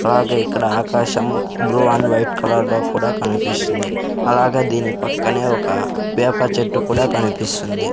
అలాగే ఇక్కడ ఆకాశం బ్లూ అండ్ వైట్ కలర్ లో కూడా కనిపిస్తుంది అలాగే దీని పక్కనే ఒక వేప చెట్టు కూడా కనిపిస్తుంది.